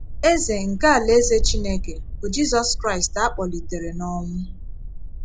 Eze nke Alaeze Chineke bụ Jizọs Kraịst a kpọlitere n’ọnwụ.